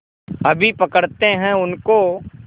अभी पकड़ते हैं उनको